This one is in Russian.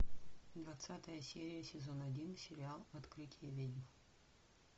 двадцатая серия сезон один сериал открытие ведьм